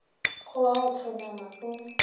go wa go hlonama o